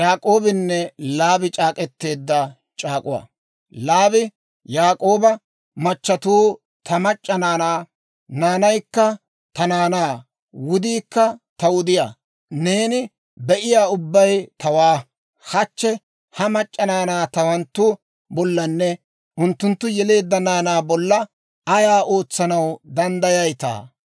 Laabi Yaak'ooba, «Machatuu ta mac'c'a naanaa; naanaykka ta naanaa; wudiikka ta wudiyaa; neeni be'iyaa ubbay tawaa. Hachche ha mac'c'a naanaa tawanttu bollanne unttunttu yeleedda naanaa bolla ayaa ootsanaw danddayayitaa?